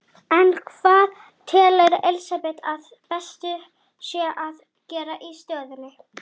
Ég lít snögglega í kringum mig en kem ekki auga á neitt.